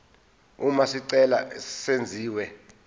uma isicelo senziwa